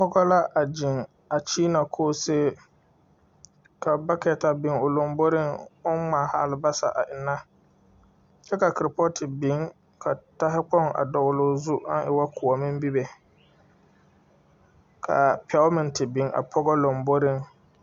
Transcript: Pɔgɔ la a zeŋ a kyeena koosee. Ka alabata biŋ o lomboriŋ oŋ ŋmaaha alabasa a enna. Kyɛ ka korpɔɔte biŋ ka dahakpoŋ a dɔɔloo zu aŋ e wo koɔme be be. K'a pɛo meŋ te biŋ a pɔgɔ lamboriŋ.